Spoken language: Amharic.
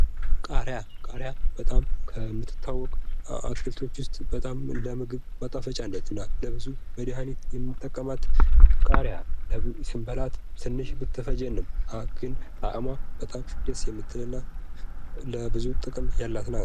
ቃሪያ ፦ ቃሪያ በጣም ከምትታወቅ አትክልቶች ውስጥ በጣም እንደ ምግብ ማጣፈጫነት እና ለብዙ መድኃኒትነት የምንጠቀማት ቃሪያ ስንበላት ትንሽ ብትፈጀንም ግን ጣዕሟ በጣም ደስ የሚል እና ለብዙ ጥቅም ያላት ናት ።